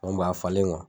a falenlen kɔ